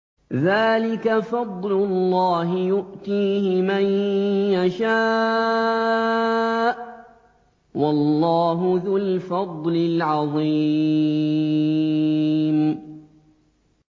ذَٰلِكَ فَضْلُ اللَّهِ يُؤْتِيهِ مَن يَشَاءُ ۚ وَاللَّهُ ذُو الْفَضْلِ الْعَظِيمِ